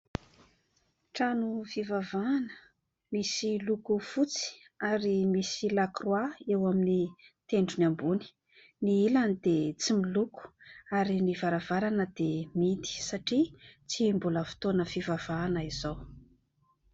Trano fivavahana misy loko fotsy ary misy lakroa eo amin'ny tendrony ambony, ny ilany dia tsy miloko ary ny varavarana dia mihidy satria tsy mbola fotoana fivavahana izao.